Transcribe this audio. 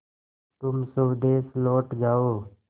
तुम स्वदेश लौट जाओ